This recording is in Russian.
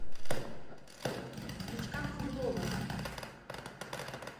витька круглова